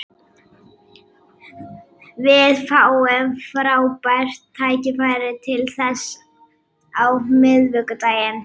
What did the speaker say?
Við fáum frábært tækifæri til þess á miðvikudaginn.